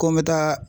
Ko n bɛ taa